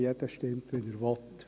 Jeder stimmt, wie er will.